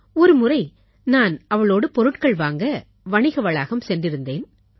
ஒருமுறை நான் அவளோடு பொருட்கள் வாங்க வணிக வளாகம் சென்றிருந்தேன்